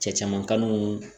Cɛ caman kanu